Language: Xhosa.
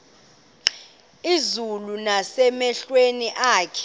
izulu nasemehlweni akho